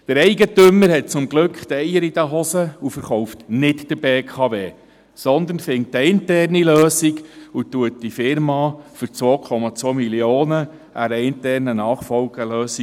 Der Eigentümer hat zum Glück Eier in der Hose und verkauft nicht an die BKW, sondern findet eine interne Lösung und übergibt die Firma für 2,2 Mio. Franken an eine interne Nachfolgelösung.